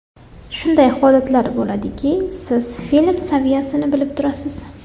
Shunday holatlar bo‘ladiki, siz film saviyasini bilib turasiz.